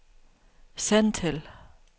send til